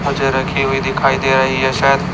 मुझे रखी हुई दिखाई दे रही है शायद--